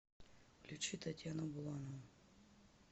включи татьяну буланову